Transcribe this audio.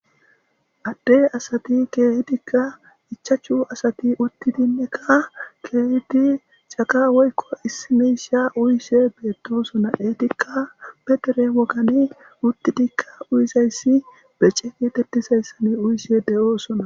Adde asati keehidika ichchachu asati uttidinneka keehidi caqa woykko issi miishsha uyishe beetosona eetika be dere wogani uttidikka uyizayssi bece geetetizaysan uyishe de'osonna.